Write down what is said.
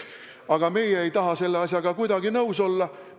Aga meie ei taha selle asjaga kuidagi nõus olla.